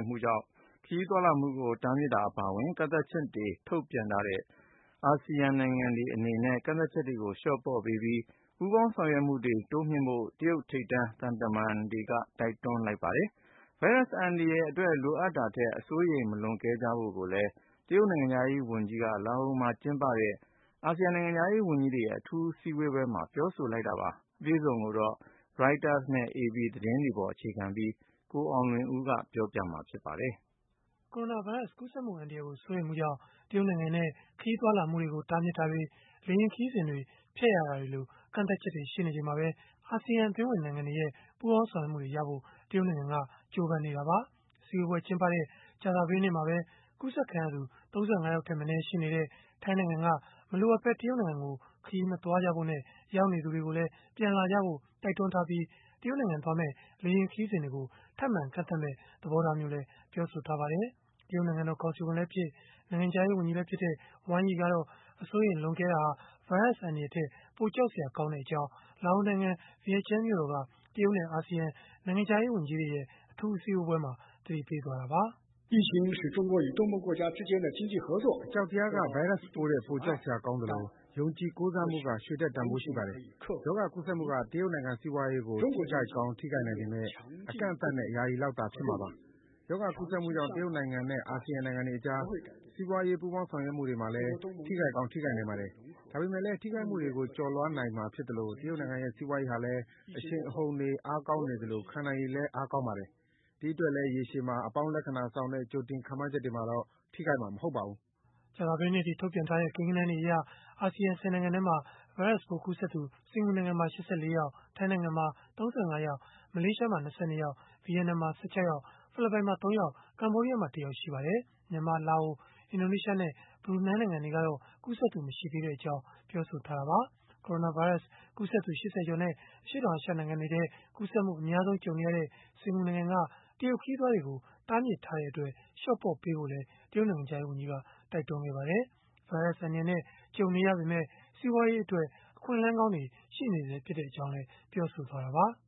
မ်မှုတွေကြောင့် ခရီးသွားလာမှုတွေကို တားမြစ်တာ အပါအဝင် ကန့်သတ်ချက်တွေ ထုတ်ပြန်ထားတဲ့ အရှေ့တောင်အာရှ နိုင်ငံများအသင်း (Asean) နိုင်ငံတွေ အနေနဲ့ ကန့်သတ်ချက်တွေကို လျှော့ပေါ့ပေးပြီး၊ ပူးပေါင်းဆောင်ရွက်မှုတွေ တိုးမြှင့်ဖို့ တရုတ်ထိပ်တန်းသံတမန်က တိုက်တွန်းလိုက်ပါတယ်။ ဗိုင်းရပ်စ် အန္တရာယ်အတွက် လိုအပ်တာထက် အစိုးရိမ် မလွန်ကဲကြဖို့လည်း တရုတ်နိုင်ငံခြားရေးဝန်ကြီးက လာအိုနိုင်ငံမှာ ကျင်းပတဲ့ Asean နိုင်ငံခြားရေး ဝန်ကြီးတွေရဲ့ အထူးအစည်းအဝေးမှာ ပြောဆိုလိုက်တာပါ။ အပြည့်အစုံကိုတော့ Reuters နဲ့ AP သတင်းဆောင်းပါးတွေကို အခြေခံပြီး ကိုအောင်လွင်ဦးက ပြောပြပေးမှာ ဖြစ်ပါတယ်။ ကိုရိုနာဗိုင်းရပ်စ် ကူးစက်မှု အန္တရာယ်ကို စိုးရိမ်မှုကြောင့် တရုတ်နိုင်ငံနဲ့ ခရီးသွားလာမှုတွေကို တားမြစ်တာတွေ၊ လေယာဉ်ခရီးစဉ်တွေ ဖျက်ရတာတွေလို ကန့်သတ်ချက်တွေ ရှိနေချိန်မှာပဲ Asean အသင်းဝင်နိုင်ငံတွေရဲ့ ပူးပေါင်းဆောင်ရွက်မှုတွေရဖို့ တရုတ်နိုင်ငံက ကြိုးပမ်းနေတာပါ။ အစည်းအဝေး ကျင်းပတဲ့ ကြာသပတေးနေ့မှာပဲ ကူးစက်ခံရသူ ၃၅ ယောက်ထက်မနည်း ရှိနေတဲ့ ထိုင်းနိုင်ငံက မလိုအပ်ဘဲ တရုတ်နိုင်ငံကို ခရီးမသွားကြဖို့နဲ့ ရောက်နေသူတွေကိုလည်း ပြန်လာကြဖို့ တိုက်တွန်းထားပြီး၊ တရုတ်နိုင်ငံသွားမယ့် လေယာဉ်ခရီးစဉ်တွေကို ထပ်မံကန့်သတ်မယ့် သဘောထားမျိုးလည်း ပြောဆိုထားပါတယ်။ တရုတ်နိုင်ငံတော် ကောင်စီဝင်လည်းဖြစ် နိုင်ငံခြားရေး ဝန်ကြီးလည်းဖြစ်တဲ့ Wang Yi ကတော့ အစိုးရိမ်လွန်ကဲတာဟာ ဗိုင်းရပ်စ်အန္တရာယ်ထက် ပိုကြောက်စရာ ကောင်းတဲ့အကြောင်း လာအိုနိုင်ငံ၊ ဗီယန်ကျန်းမြို့တော်က တရုတ်နဲ့ Asean နိုင်ငံခြားရေးဝန်ကြီးတွေရဲ့ အထူးအစည်းအဝေးမှာ သတိပေးခဲ့တာပါ။ “အကြောက်တရားက ဗိုင်းရပ်စ်ပိုးထက် ပိုကြောက်စရာကောင်းသလို၊ ယုံကြည်ကိုးစားမှုက ရွှေထက်တန်ဘိုးရှိပါတယ်။ ရောဂါကူးစက်မှုက တရုတ်နိုင်ငံ စီးပွားရေးကို ထိခိုက်ကောင်း ထိခိုက်နိုင်ပေမဲ့ အကန့်အသတ်နဲ့ ယာယီလောက်သာ ဖြစ်မှာပါ။ ရောဂါကူးစက်မှုကြောင့် တရုတ်နိုင်ငံနဲ့ အာဆီယံ နိုင်ငံတွေကြား စီးပွားရေး ပူးပေါင်းဆောင်ရွက်မှုတွေမှာလည်း ထိခိုက်ကောင်း ထိခိုက်နိုင်ပါတယ်။ ဒါပေမဲ့လည်း ထိခိုက်မှုတွေကို ကျော်လွှားနိုင်မှာ ဖြစ်သလို၊ တရုတ်နိုင်ငံရဲ့ စီးပွားရေးဟာလည်း အရှိန်အဟုန်တွေ အားကောင်းနေသလို ခံနိုင်ရည်လည်း အားကောင်းပါတယ်။ ဒီအတွက်လည်း ရေရှည်မှာ အပေါင်းလက္ခဏာဆောင်တဲ့ ကြိုတင်ခန့်မှန်းချက်တွေမှာတော့ ထိခိုက်မှာမဟုတ်ပါဘူး။” ကြာသပတေးနေ့အထိ ထုတ်ပြန်ထားတဲ့ ကိန်းဂဏန်းတွေအရ Asean ၁၀ နိုင်ငံထဲမှာ ဗိုင်းရပ်စ်ပိုးကူးစက်သူ စင်္ကာပူနိုင်ငံမှာ ၈၄ ယောက်၊ ထိုင်းနိုင်ငံမှာ ၃၅ ယောက်၊ မလေးရှားမှာ ၂၂ ယောက်၊ ဗီယက်နမ်မှာ ၁၆ ယောက်၊ ဖိလစ်ပိုင်မှာ ၃ ယောက်၊ ကမ္ဘောဒီးယားမှာ ၁ ယောက် ရှိပါတယ်။ မြန်မာ၊ လာအို၊ အင်ဒိုနီးရှားနဲ့ ဘရူနိုင်းနိုင်ငံတွေကတော့ ကူးစက်သူမရှိသေးကြောင်း ပြောဆိုထားကြတာပါ။ ကိုရိုနာဗိုင်းရပ်စ် ကူးစက်သူ ၈၀ ကျော်နဲ့ အရှေ့တောင်အာရှ နိုင်ငံတွေထဲမှာ ကူးစက်မှု အများဆုံးကြုံနေရတဲ့ စင်္ကာပူနိုင်ငံက တရုတ်ခရီးသွားတွေကို တားမြစ်ထားတဲ့အတွက် လျှော့ပေါ့ပေးဖို့လည်း တရုတ်နိုင်ငံခြားရေးဝန်ကြီးက တိုက်တွန်းခဲ့ပါတယ်။ ဗိုင်းရပ်စ်အန္တရာယ်နဲ့ ကြုံနေရပေမဲ့ စီးပွားရေးအတွက် အခွင့်အလမ်းကောင်းတွေ ရှိနေဆဲဖြစ်ကြောင်းလည်း ပြောဆိုခဲ့တာပါ။ “ရောဂါ